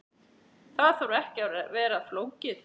Það þarf ekki að vera flókið.